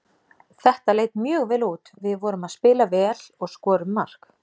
Þetta leit mjög vel út, við vorum að spila vel og skorum mark.